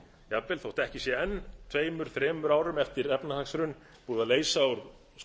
jafnvel þótt ekki sé tveimur þremur árum eftir efnahagshrunið sé búið að leysa úr skuldaflækjunni og